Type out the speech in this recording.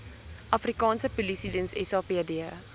afrikaanse polisiediens sapd